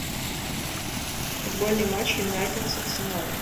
футбольный матч юнайтед с арсеналом